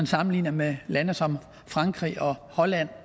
sammenligner med lande som frankrig og holland